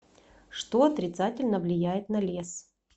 что отрицательно влияет на лес